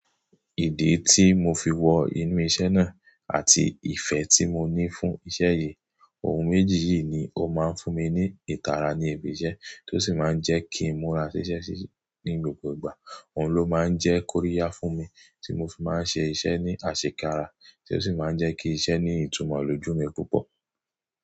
Ìdí tí mo fi wọ inú iṣẹ́ náà àti ìfẹ́ tí mo ní fún iṣẹ́ yìí, ohun méjì yìí ni ó máa ń fún mi ní ìtara ní ibi iṣẹ́, tó sì máa ń jẹ́ kí n mu ra ṣiṣẹ́ síi ní gbogbo ìgbà, òun ló máa ń jẹ́ kóríyá fún mi tí mo fi máa ń ṣe iṣẹ́ ní àṣekára tí ó sì máa ń jẹ́ kí iṣẹ́ ní ìtumọ̀ lójú mi púpọ̀.